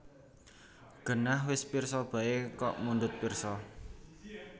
Genah wis pirsa baé kok mundhut pirsa